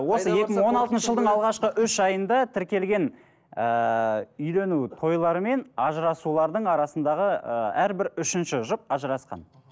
осы екі мың он алтыншы жылдың алғашқы үш айында тіркелген ыыы үйлену тойлар мен ажырасулардың арасындағы ыыы әрбір үшінші жұп ажырасқан